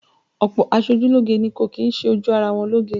Ọ̀pọ̀ aṣojúlógé ni kò kì í ṣe ojú ara wọn lóge